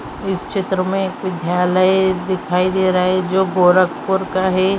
इस चित्र में विद्यालय दिखाई दे रहा है जो गोरखपुर का है |